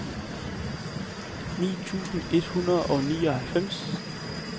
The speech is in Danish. ni tusind et hundrede og nioghalvfjerds